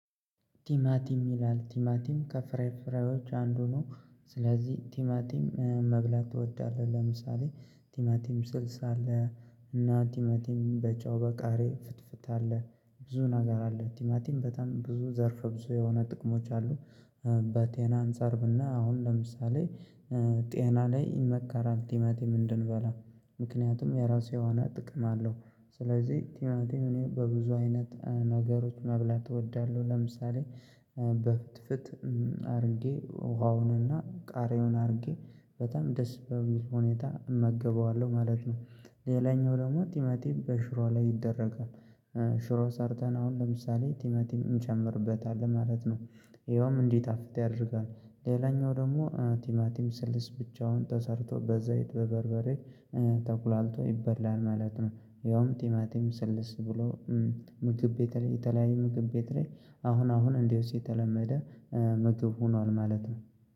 ቲማቲም ይላል ቲማቲም ከፍሬ ፍሬዎች አንዱ ነው። ስለዚህ ቲማቲም መብላት እወዳለሁ። ለምሳሌ ቲማቲም ስልስ አለ እና ቲማቲም በጨው በቃሪያ ፍትፍት አለ ብዙ ነገር አለ ቲማቲም በጣም ብዙ ዘርፍ ብዙ የሆነ ጥቅሞች አሉ። በጤና አንፃር ብናይ አሁን ለምሳሌ ጤና ላይ ይመከራል ቲማቲም እንድንበላ ምክንያቱም የራሱ የሆነ ጥቅም አለው። ስለዚህ ቲማቲም በብዙ አይነት ነገሮች መብላት እወዳለሁ። ለምሳሌ በፍትፍት አድርጌ ውሃውንና ቃሪውን አድርጌ በጣም ደስ በሚል ሁኔታ እመገበዋለሁ ማለት ነው። ሌላኛው ደግሞ ቲማቲም በሽሮ ላይ ይደረጋል። ሽሮ ሰርተን አሁን ለምሳሌ ቲማቲም እንጨምርበታለን ማለት ነው። ይኸውም እንዴት? አፍተህ ያደርጋል ሌላኛው ደግሞ ቲማቲም ስልስ ብቻውን ተሰርቶ በዘይት በበርበሬ ተቁላልቶ ይበላል ማለት ነው። ያውም ቲማቲም ስልስ ብሎ ምግብ ቤት ላይ የተለያዩ ምግብ ቤት ላይ አሁን አሁን እንደዚሁ የተለመደ መግብ ሆኗል ማለት ነው።